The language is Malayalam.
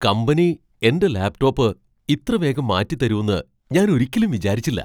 കമ്പനി എന്റെ ലാപ്ടോപ്പ് ഇത്രവേഗം മാറ്റിത്തരൂന്ന് ഞാൻ ഒരിക്കലും വിചാരിച്ചില്ല!